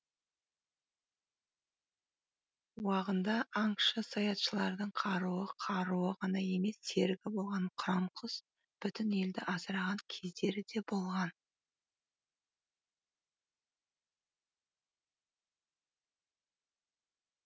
уағында аңшы саятшылардың қаруы қаруы ғана емес серігі болған қыран құс бүтін елді асыраған кездері де болған